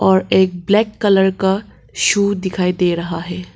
और एक black colour का शू दिखाई दे रहा है।